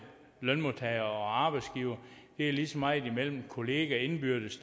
lønmodtagere og arbejdsgivere det er lige så meget imellem kolleger indbyrdes